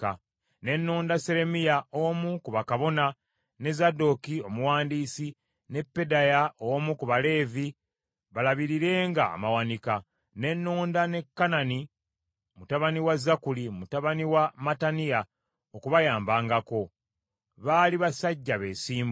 Ne nnonda Seremiya omu ku bakabona, ne Zadooki omuwandiisi, ne Pedaya omu ku Baleevi balabirirenga amawanika. Ne nnonda ne Kanani mutabani wa Zakkuli, mutabani wa Mattaniya okubayambangako; baali basajja beesimbu.